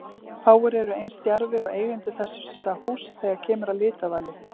Fáir eru eins djarfir og eigendur þessa húss þegar kemur að litavali.